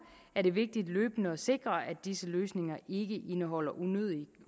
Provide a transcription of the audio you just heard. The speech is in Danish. er det vigtigt løbende at sikre at disse løsninger ikke indeholder unødige